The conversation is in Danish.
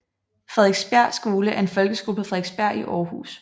Frederiksbjerg Skole er en folkeskole på Frederiksbjerg i Aarhus